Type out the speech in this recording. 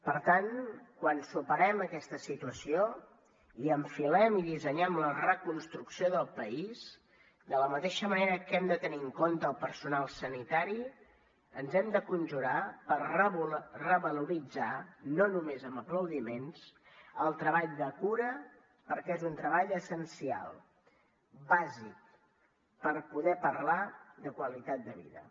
per tant quan superem aquesta situació i enfilem i dissenyem la reconstrucció del país de la mateixa manera que hem de tenir en compte el personal sanitari ens hem de conjurar per revaloritzar no només amb aplaudiments el treball de cura perquè és un treball essencial bàsic per poder parlar de qualitat de vida